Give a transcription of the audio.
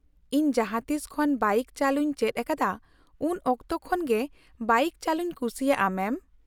-ᱤᱧ ᱡᱟᱦᱟᱸᱛᱤᱥ ᱠᱷᱚᱱ ᱵᱟᱭᱤᱠ ᱪᱟᱹᱞᱩᱧ ᱪᱮᱫ ᱟᱠᱟᱫᱟ ᱩᱱ ᱚᱠᱛᱚ ᱠᱷᱚᱱ ᱜᱮ ᱵᱟᱭᱤᱠ ᱪᱟᱹᱞᱩᱧ ᱠᱩᱥᱤᱭᱟᱜᱼᱟ ᱢᱮᱢ ᱾